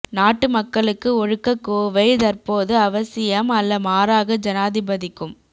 நாட்டு மக்களுக்கு ஒழுக்கக் கோவை தற்போது அவசியம் அல்ல மாறாக ஜனாதிபதிக்கும்